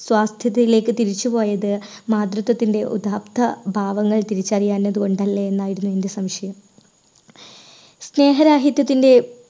സാധ്യതകളിലേക്ക് തിരിച്ചു പോയത് മാതൃത്വത്തിന്റെ ഉദാത്ത ഭാവങ്ങൾ തിരിച്ചറിയാഞ്ഞത് കൊണ്ടല്ലേ? എന്നായിരുന്നു എൻറെ സംശയം. സ്നേഹരാഹിത്യത്തിന്റെ